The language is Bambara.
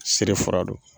Seri fura don